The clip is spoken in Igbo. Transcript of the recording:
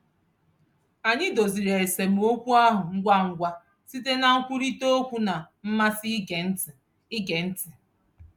Anyị doziri esemokwu ahụ ngwa ngwa site na nkwurịtaokwu na mmasị ige ntị. ige ntị.